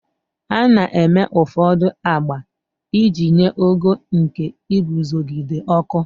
A na-eme ụfọdụ agba iji nye ogo nke iguzogide ọkụ.